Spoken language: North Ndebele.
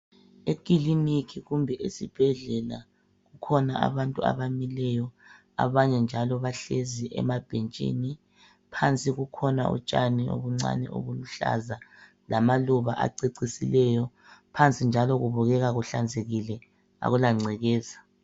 Ekiliniki kumbe esibhedlela. Kukhona abantu abamileyo, abanye njalo bahlezi emabhentshini. Phansi kukhona utshani obuncani obuluhlaza lamaluba acecisileyo. Phansi njalo kubukeka kuhlanzekile, akula ngcekeza.